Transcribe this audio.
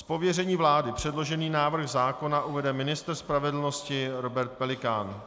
Z pověření vlády předložený návrh zákona uvede ministr spravedlnosti Robert Pelikán.